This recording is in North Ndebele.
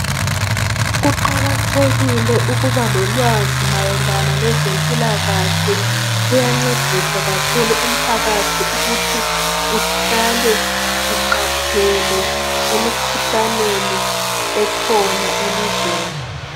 Kuqakathekile ukuba lolwazi mayelana lezempilakahle kuyancedisa umphakathi ukuthi uhlale uqaphele emikhuhlaneni ekhona elizweni